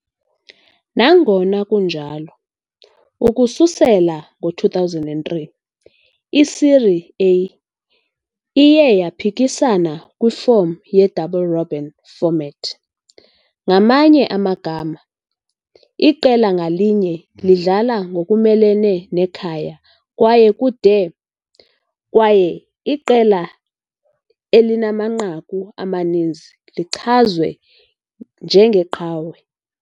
Nangona kunjalo, ukususela ngo-2003, i-Série A iye yaphikisana kwifom ye-double-robin format. Ngamanye amagama, iqela ngalinye lidlala ngokumelene nekhaya kwaye kude, kwaye iqela elinamanqaku amaninzi lichazwe njengeqhawe.